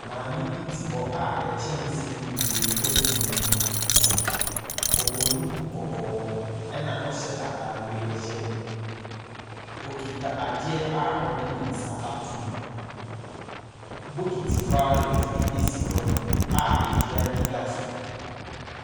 Maame bi te hɔ a nkyɛnse bebree egu n'enim. Ɔbɔ duku kɔkɔɔ ɛna ɔhyɛ ataareɛ yɛlo, okuta adeɛ a ɔde ne nsa ato mu. Bokiti vawolɛte bi si hɔ nom a esua ɛda so.